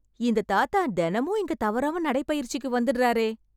இந்த தாத்தா தெனமும் இங்க தவறாம நடைபயிற்சிக்கு வந்துடறாரே.